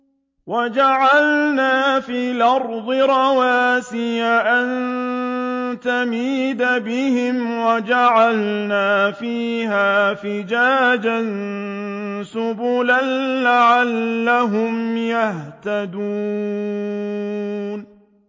وَجَعَلْنَا فِي الْأَرْضِ رَوَاسِيَ أَن تَمِيدَ بِهِمْ وَجَعَلْنَا فِيهَا فِجَاجًا سُبُلًا لَّعَلَّهُمْ يَهْتَدُونَ